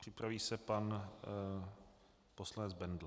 Připraví se pan poslanec Bendl.